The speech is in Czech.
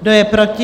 Kdo je proti?